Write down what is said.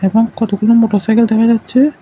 কতগুলো মোটরসাইকেল দেখা যাচ্ছে।